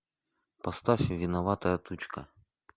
поставь виноватая тучка